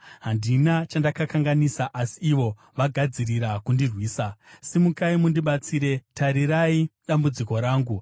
Handina chandakakanganisa, asi ivo vagadzirira kundirwisa. Simukai mundibatsire; tarirai dambudziko rangu!